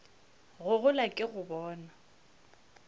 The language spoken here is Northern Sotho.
go gola ke go bona